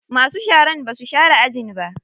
Masu sharan basu share ajin ba.